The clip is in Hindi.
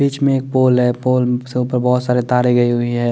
बिच में एक पोल है पोल से उपर में बोहोत सारी कारे गयी हुई है।